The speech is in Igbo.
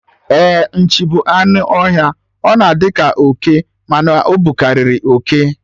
Ee, Nchi bụ anụ ọhịa, ọ na-adi ka oke, mana ọ bukariri oke